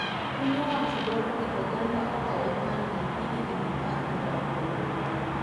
Piny owacho dwaro ni oganda okau opande gi igni apar kod aboro